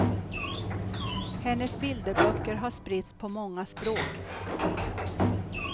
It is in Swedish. Hennes bilderböcker har spritts på många språk. punkt